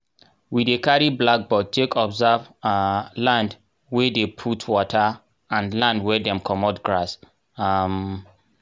we dey carry blackboard take observe um land wey dey put water and land wey dem commot grass. um